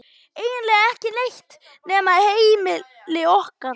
Eiginlega ekki neitt nema heimili okkar.